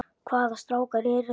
Hvaða strákar eru það?